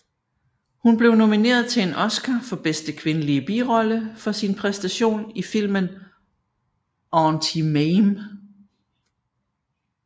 Hun blev nomineret til en Oscar for bedste kvindelige birolle for sin præstation i filmen Auntie Mame